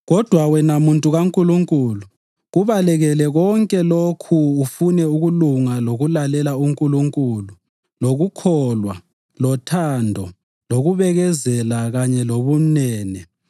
Kodwa wena muntu kaNkulunkulu, kubalekele konke lokhu ufune ukulunga lokulalela uNkulunkulu, lokukholwa, lothando, lokubekezela kanye lobumnene.